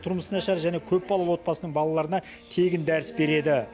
тұрмысы нашар және көпбалалы отбасының балаларына тегін дәріс береді